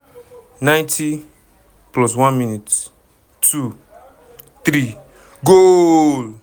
90+1 mins - 2 - 3 - goal!